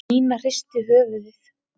Nína hristi höfuðið.